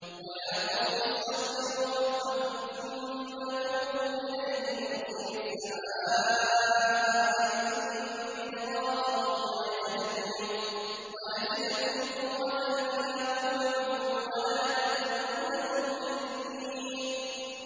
وَيَا قَوْمِ اسْتَغْفِرُوا رَبَّكُمْ ثُمَّ تُوبُوا إِلَيْهِ يُرْسِلِ السَّمَاءَ عَلَيْكُم مِّدْرَارًا وَيَزِدْكُمْ قُوَّةً إِلَىٰ قُوَّتِكُمْ وَلَا تَتَوَلَّوْا مُجْرِمِينَ